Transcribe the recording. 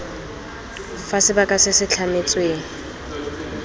fa sebaka se se tlametsweng